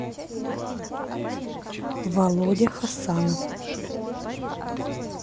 володя хасанов